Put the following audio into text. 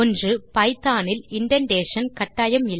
Python இல் indentation கட்டாயம் இல்லை